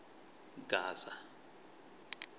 gasa